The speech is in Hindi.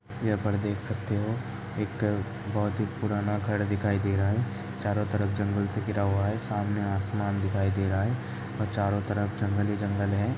यहाँ पर देख सकते हो एक बहुत ही पुराना घर दिखाई दे रहा है। चारो तरफ जंगल से घिरा हुआ है सामने आसमान दिखाई दे रहा ही औ चारो तरफ ही जंगल ही जंगल है।